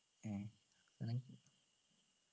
അഹ് ഉം